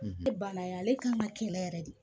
e banna yan ale kan ŋa kɛ la yɛrɛ de